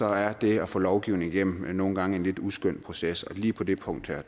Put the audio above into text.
er det at få lovgivning igennem nogle gange en lidt uskøn proces og lige på det punkt er